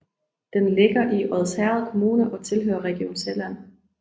Den ligger i Odsherred Kommune og tilhører Region Sjælland